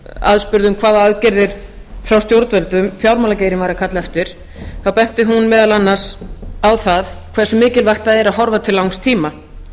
aðspurð um hvaða aðgerðir frá stjórnvöldum fjármálageirinn væri að kalla eftir þá benti hún meðal annars á það hversu mikilvægt það er að horfa til langs tíma